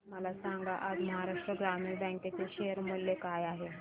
मला सांगा आज महाराष्ट्र ग्रामीण बँक चे शेअर मूल्य काय आहे